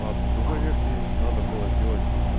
по другой версии надо было сделать